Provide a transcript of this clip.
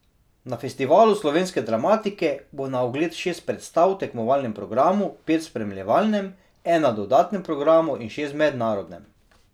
Na festivalu slovenske dramatike bo na ogled šest predstav v tekmovalnem programu, pet v spremljevalnem, ena v dodatnem programu in šest v mednarodnem.